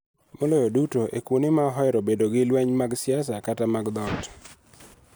Maloyo duto e kuonde ma ohero bedo gi lweny mag siasa kata mag dhoot.